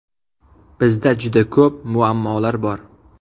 Bizda juda ko‘p muammolar bor.